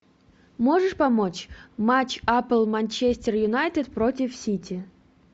можешь помочь матч апл манчестер юнайтед против сити